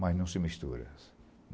Mas não se mistura.